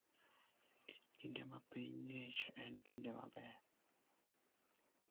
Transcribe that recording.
Kinde ma piny ng'ich en kinde maber.